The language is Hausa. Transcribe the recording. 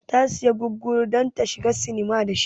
Ta siya gurguru don ta shiga sinima da shi